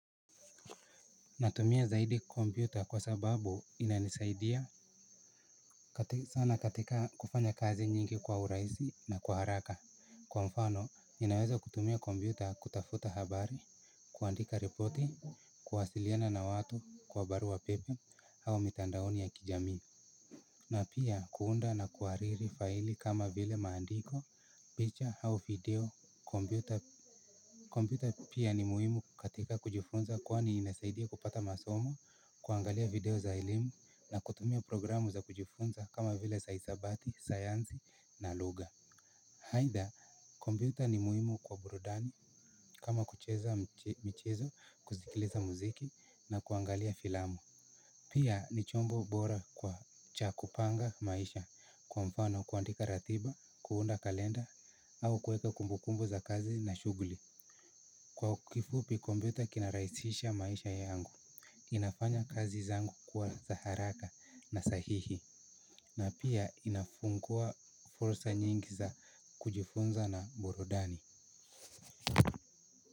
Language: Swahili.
Natumia zaidi kompyuta kwa sababu inanisaidia sana katika kufanya kazi nyingi kwa urahisi na kwa haraka. Kwa mfano, ninaweza kutumia kompyuta kutafuta habari, kuandika riporti, kuwasiliana na watu kwa barua pepe au mitandaoni ya kijami. Na pia kuunda na kuhariri faili kama vile maandiko, picha au video, kompyuta. Kompyuta pia ni muhimu katika kujifunza kwani inasaidia kupata masomo, kuangalia video za elimu na kutumia programu za kujifunza kama vile za hisabati, sayansi na lugha. Aidha, computer ni muhimu kwa burudani kama kucheza michezo, kusikiliza muziki na kuangalia filamu. Pia ni chombo bora kwa cha kupanga maisha kwa mfano kuandika ratiba, kuunda kalenda au kueka kumbukumbu za kazi na shughuli. Kwa kifupi kompyuta kina rahisisha maisha yangu. Inafanya kazi zangu kuwa za haraka na sahihi. Na pia inafungua fursa nyingi za kujifunza na burudani.